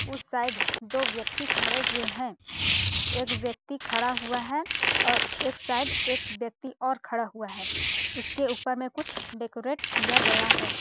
उस साइड दो व्यक्ति खड़े हुए हैं एक व्यक्ति खड़ा हुआ है और एक साइड एक व्यक्ति और खड़ा हुआ है उसके ऊपर में कुछ डेकोरेट किया गया है।